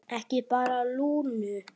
Ekki bara Lúnu.